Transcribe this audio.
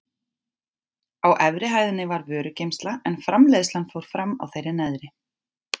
Á efri hæðinni var vörugeymsla en framleiðslan fór fram á þeirri neðri.